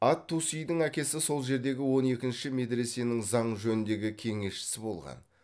ат тусидың әкесі сол жердегі он екінші медресенің заң жөніндегі кеңесшісі болған